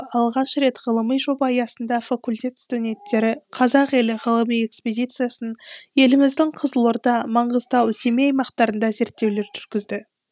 алғаш рет ғылыми жоба аясында факультет студенттері қазақ елі ғылыми экспедициясын еліміздің қызылорда маңғыстау семей аймақтарында зерттеулер жүргізді